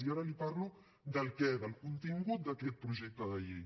i ara li parlo del què del contingut d’aquest projecte de llei